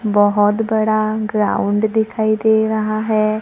बहोत बड़ा ग्राउंड दिखाई दे रहा है।